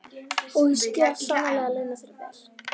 Og ég skal sannarlega launa þér vel.